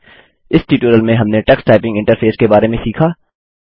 इस ट्यूटोरियल में हमने टक्स टाइपिंग इंटरफेस के बारे में सीखा